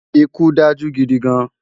Ikú dájú gidi gán